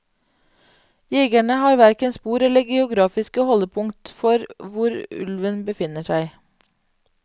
Jegerne har hverken spor eller geografiske holdepunkter for hvor ulven befinner seg.